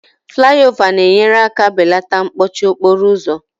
Flayova na-enyere aka belata mkpọchi okporo ụzọ